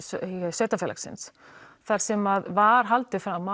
sveitafélagsins þar sem var haldið fram